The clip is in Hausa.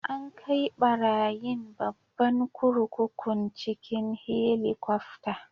An kai barayin babban kurkukun cikin Helikwafta.